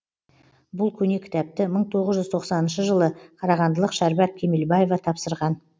бұл көне кітапты мың тоғыз жүз тоқсаныншы жылы қарағандылық шәрбат кемелбаева тапсырған